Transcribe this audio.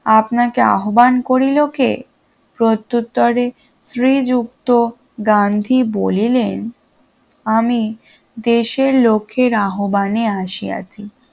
আপনাকে আহ্বান করিল কে প্রত্যুত্তরে শ্রীযুক্ত গান্ধী বলিলেন আমি দেশের লোকের আহ্বানে আসিয়াছি